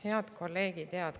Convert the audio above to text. Head kolleegid!